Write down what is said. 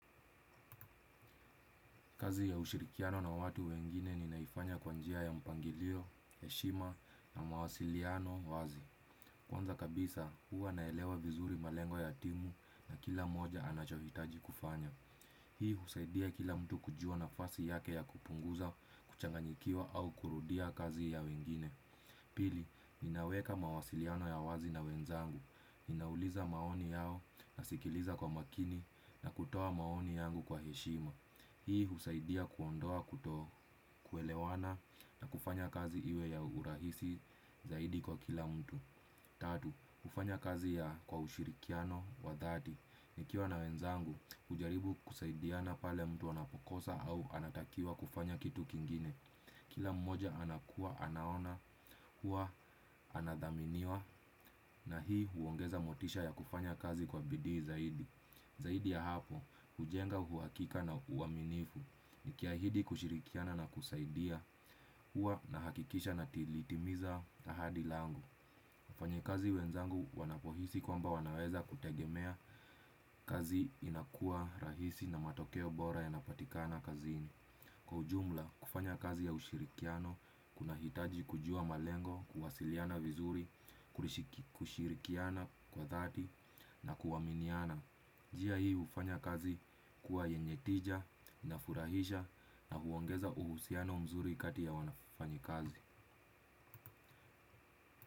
Kazi ya ushirikiano na watu wengine ninaifanya kwa njia ya mpangilio, heshima na mawasiliano wazi. Kwanza kabisa, huwa naelewa vizuri malengo ya timu na kila moja anachohitaji kufanya. Hii husaidia kila mtu kujua nafasi yake ya kupunguza, kuchanganyikiwa au kurudia kazi ya wengine. Pili, ninaweka mawasiliano ya wazi na wenzangu. Ninauliza maoni yao nasikiliza kwa makini na kutoa maoni yangu kwa heshima. Hii husaidia kuondoa kuto kuelewana na kufanya kazi iwe ya urahisi zaidi kwa kila mtu. Tatu, ufanya kazi ya kwa ushirikiano wa dhati. Nikiwa na wenzangu, ujaribu kusaidiana pale mtu anapokosa au anatakiwa kufanya kitu kingine. Kila mmoja anakuwa, anaona, huwa, anadhaminiwa na hii huongeza motisha ya kufanya kazi kwa bidii zaidi. Zaidi ya hapo, ujenga uhakika na uwaminifu nikiahidi kushirikiana na kusaidia huwa nahakikisha natimiza ahadi langu. Wafanyakazi wenzangu wanapohisi kwamba wanaweza kutegemea kazi inakua rahisi na matokeo bora yanapatikana kazini. Kwa ujumla, kufanya kazi ya ushirikiano, kuna hitaji kujua malengo, kuwasiliana vizuri, kushirikiana kwa dhati na kuaminiana. Njia hii hufanya kazi kuwa yenye tija, inafurahisha na huongeza uhusiano mzuri kati ya wafanyikazi.